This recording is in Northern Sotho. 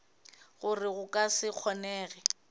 gore go ka se kgonege